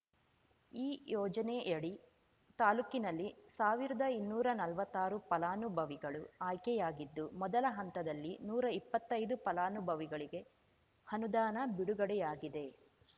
ಈ ಯೋಜನೆಯಡಿ ತಾಲೂಕಿನಲ್ಲಿ ಸಾವಿರದ ಇನ್ನೂರಾ ನಲ್ವತ್ತಾರು ಫಲಾನುಭವಿಗಳು ಆಯ್ಕೆಯಾಗಿದ್ದು ಮೊದಲ ಹಂತದಲ್ಲಿ ನೂರಾ ಇಪ್ಪತ್ತೈದು ಫಲಾನುಭವಿಗಳಿಗೆ ಅನುದಾನ ಬಿಡುಗಡೆಯಾಗಿದೆ